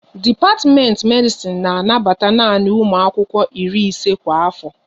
Dipatimenti Medisin na anabata nanị ụmụ akwụkwọ iri ise kwa afo